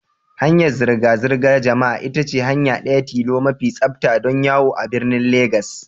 Hanyar zirga zirgar jama'a ita ce hanya ɗaya tilo mai tsafta don yawo a birnin Legas.